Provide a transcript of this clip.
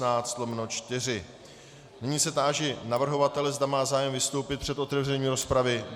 Nyní se táži navrhovatele, zde má zájem vystoupit před otevřením rozpravy.